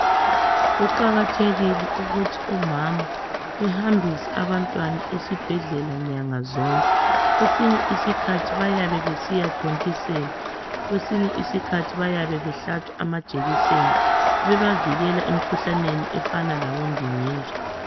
Kuqakathekile ukuthi umama ehambise abantwana esibhedlela nyanga zonke. Kwesinye iskhathi bayabe besiyathontiselwa. Kwesinye iskhathi bayabe behlatshwa amajekiseni, bebavikela emikhuhlaneni efana labondingindi.